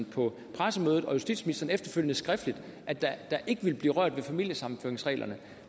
på pressemødet og justitsministeren efterfølgende skriftligt at der ikke ville blive rørt ved familiesammenføringsreglerne